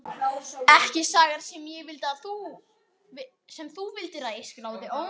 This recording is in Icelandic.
Ekki sagan sem þú vildir að ég skráði.